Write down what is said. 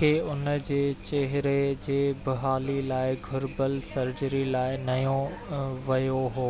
کي ان جي چهري جي بحالي لاءِ گهربل سرجري لاءِ نيو ويو هو